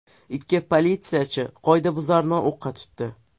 Ikki politsiyachi qoidabuzarni o‘qqa tutdi.